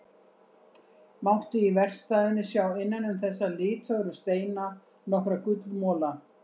Mátti í verkstæðinu sjá innan um þessa litfögru steina nokkra gullmola.